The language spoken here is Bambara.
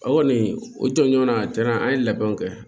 O kɔni o tɔɲɔgɔn a tɛna an ye labɛnw kɛ